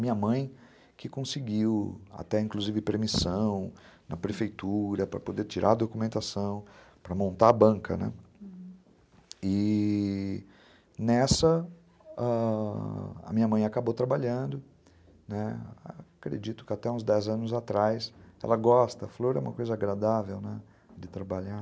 Minha mãe que conseguiu até inclusive permissão na prefeitura para poder tirar a documentação para montar a banca né, hum, e... nessa ãh a minha mãe acabou trabalhando, né, acredito que até uns dez anos atrás. Ela gosta. Flor é uma coisa agradável, né, de trabalhar.